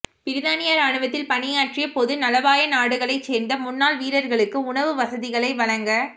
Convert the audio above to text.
பிரித்தானிய ராணுவத்தில் பணியாற்றிய பொதுநலவாயநாடுகளைச் சேர்ந்த முன்னாள் வீரர்களுக்கு உணவு வசதிகளை வழங